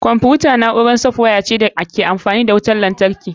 Kwamfuta na'urar software ce da ke amfani da wutar lantarki.